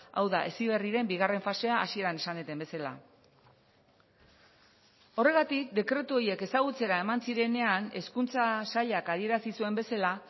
hau da heziberriren bigarren fasea hasieran esan dudan bezala horregatik dekretu horiek ezagutzera eman zirenean hezkuntza sailak adierazi zuen bezala